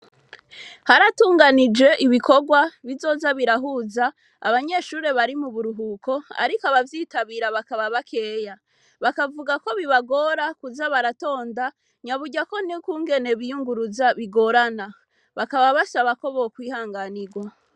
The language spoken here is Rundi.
Haratunganijwe ibikorwa bizoza birahuza abanyeshure bari muburuhuko ariko abavyitabira bakaba bakeya bakavuga ko bibagora kuza baratonda nyaburya nukungene biyunguruza bigorana bakaba basaba ko bokwihanganirwa